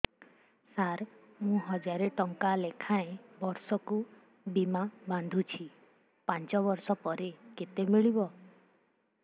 ସାର ମୁଁ ହଜାରେ ଟଂକା ଲେଖାଏଁ ବର୍ଷକୁ ବୀମା ବାଂଧୁଛି ପାଞ୍ଚ ବର୍ଷ ପରେ କେତେ ମିଳିବ